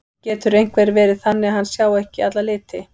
Getur einhver verið þannig að hann sjái ekki alla liti?